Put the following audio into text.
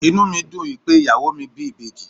Inú mi dùn wípé ìyàwó mi bí ìbejì.